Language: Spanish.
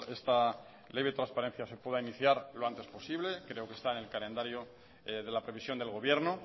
esta ley de transparencia se pueda iniciar lo antes posible creo que está en el calendario de la previsión del gobierno